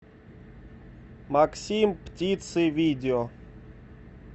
максим птицы видео